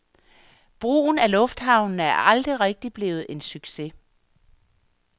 Brugen af lufthavnene er aldrig rigtigt blevet en succes.